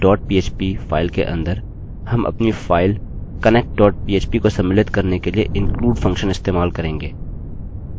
mysql dot php file के अंदर हम अपनी फाइल connect dot phpको सम्मिलित करने के लिए include फंक्शन इस्तेमाल करेंगे